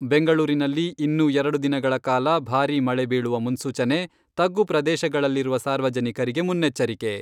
ಬೆಂಗಳೂರಿನಲ್ಲಿ ಇನ್ನೂ ಎರಡು ದಿನಗಳ ಕಾಲ ಭಾರೀ ಮಳೆ ಬೀಳುವ ಮನ್ಸೂಚನೆ , ತಗ್ಗು ಪ್ರದೇಶಗಳಲ್ಲಿರುವ ಸಾರ್ವಜನಿಕರಿಗೆ ಮುನ್ನೆಚ್ಚರಿಕೆ.